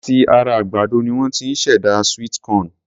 Láti ara àgbàdo ni won ti ṣ'èdá sweet corn.